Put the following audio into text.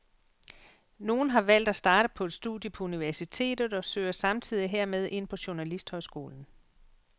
Nogle har valgt at starte på et studie på universitetet og søger samtidig hermed ind på journalisthøjskolen.